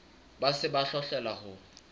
ba se ba hloleha ho